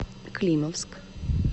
климовск